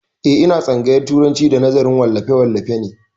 Eh, ina tsangayar turanci da nazarin wallafe wallafe ne